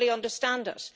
I fully understand it.